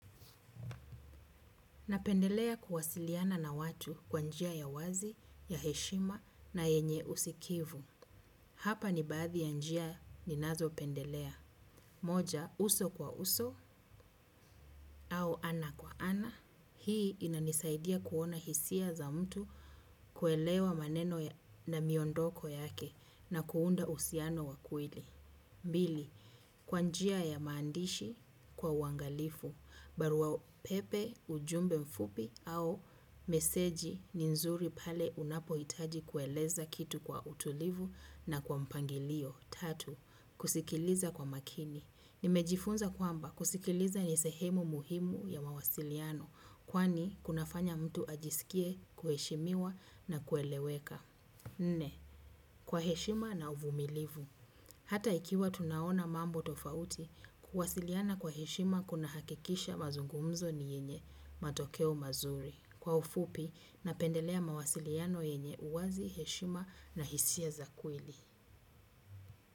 Napendelea kuwasiliana na watu kwa njia ya wazi, ya heshima na yenye usikivu. Hapa ni baadhi ya njia ninazopendelea. Moja, uso kwa uso au ana kwa ana. Hii inanisaidia kuona hisia za mtu kuelewa maneno na miondoko yake na kuunda uhusiano wa kweli. Pili, kwa njia ya maandishi, kwa uangalifu, barua pepe, ujumbe mfupi au meseji ni nzuri pale unapohitaji kueleza kitu kwa utulivu na kwa mpangilio. Tatu, kusikiliza kwa makini. Nimejifunza kwamba kusikiliza ni sehemu muhimu ya mawasiliano kwani kunafanya mtu ajisikie kuheshimiwa na kueleweka. Nne, kwa heshima na uvumilivu. Hata ikiwa tunaona mambo tofauti, kuwasiliana kwa heshima kunahakikisha mazungumzo ni yenye matokeo mazuri. Kwa ufupi, napendelea mawasiliano yenye uwazi heshima na hisia za kweli.